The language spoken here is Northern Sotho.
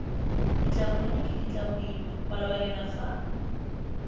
ditlabonyane ke ditlaboima malobanyana fa